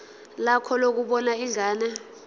lakho lokubona ingane